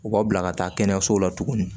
U b'a bila ka taa kɛnɛyaso la tuguni